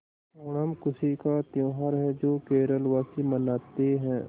ओणम खुशी का त्यौहार है जो केरल वासी मनाते हैं